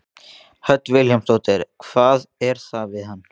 Hödd Vilhjálmsdóttir: Hvað er það við hann?